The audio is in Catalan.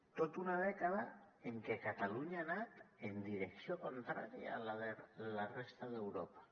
tota una dècada en què catalunya ha anat en direcció contrària a la de la resta d’europa